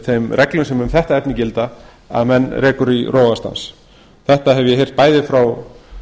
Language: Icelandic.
þeim reglum sem um þetta efni gilda að menn rekur í rogastans þetta hef ég heyrt bæði frá